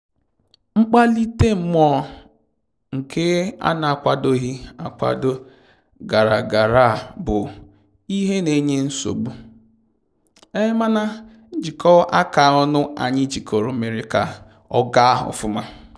Mkpalite mmụọ nke a na akwadoghị akwado gaara gaara abụ ihe na-enye nsogbu, mana njikọ aka ọnụ anyị jikọrọ mere ka ọ gaa ofụma